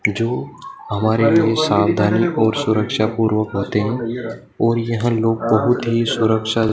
जो हमारे लिए सावधानी और सुरक्षा पूर्व होते हैं और यह लोग बहुत ही सुरक्षा--